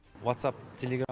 вацап телеграмм